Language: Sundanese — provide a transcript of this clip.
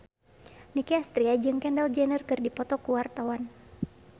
Nicky Astria jeung Kendall Jenner keur dipoto ku wartawan